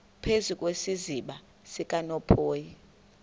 phezu kwesiziba sikanophoyi